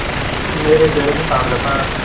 मेरे चेहरे से ताड़ जाता